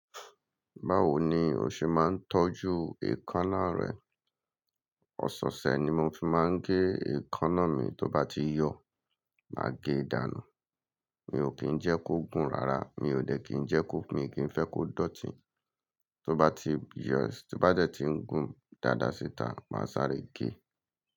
Báwo ni o ṣe máa ń tọ́jú èékánná rẹ? Ọ̀sọ̀ọ̀ṣẹ̀ ni mo fi máa ń gé èékánná mi, tó bá ti yọ̀, màá gé dànù. Mi ò kí ń jẹ́ kó gùn rara, mi ò dẹ̀ kí ń jẹ́ kó, mi ò kí ń fẹ́ kó dọ̀tí. Tó bá ti yọ̀, tí bá dẹ̀ ti ń gùn dáadáa síta, màá sáré gé.